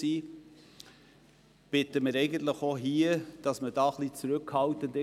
Auch hier wünschen wir uns eine gewisse Zurückhaltung.